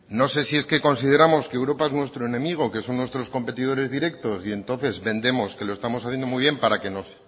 no sé si es que consideramos que europa es nuestro enemigo que son nuestros competidores directos y entonces vendemos que lo estamos haciendo muy bien para que nos